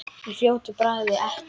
Í fljótu bragði ekki.